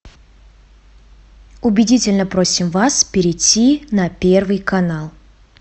убедительно просим вас перейти на первый канал